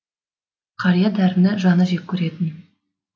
қария дәріні жаны жек керетін